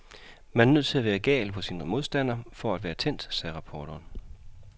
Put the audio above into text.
Man er nødt til at være gal på sin modstander for at være tændt, sagde reporteren.